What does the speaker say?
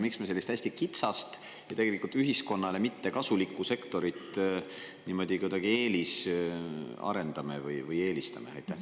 Miks me sellist hästi kitsast ja tegelikult ühiskonnale mittekasulikku sektorit niimoodi kuidagi eelisarendame või eelistame?